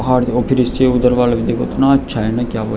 और उधर वाला देखो इतना अच्छा है क्या बताऊँ ।